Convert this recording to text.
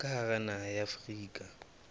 ka hara naha ya afrika